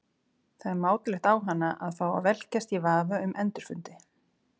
Það er mátulegt á hana að fá að velkjast í vafa um endurfundi.